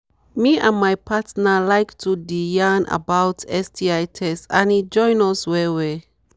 me and my partner like to the yarn about sti test and e join us well well